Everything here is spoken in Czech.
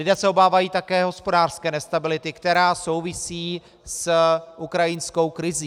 Lidé se obávají také hospodářské nestability, která souvisí s ukrajinskou krizí.